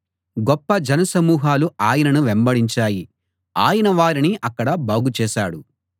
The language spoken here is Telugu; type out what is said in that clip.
గొప్ప జనసమూహాలు ఆయనను వెంబడించాయి ఆయన వారిని అక్కడ బాగుచేశాడు